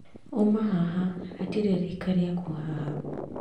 Uma haha hatirĩ rika rĩaku haha